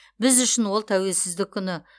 біз үшін ол тәуелсіздік күні